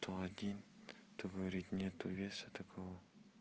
сто один творить нету веса такого